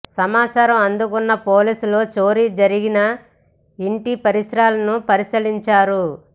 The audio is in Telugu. సమాచారం అందుకున్న పోలీసులు చోరీ జరిగిన ఇంటి పరిసరాలను పరిశీలించారు